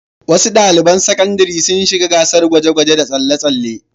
Wasu ɗaliban sakandare sun shiga gasar guje-guje da tsalle-tsalle.